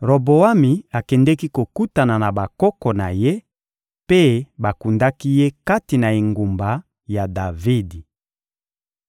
Roboami akendeki kokutana na bakoko na ye, mpe bakundaki ye kati na engumba ya Davidi.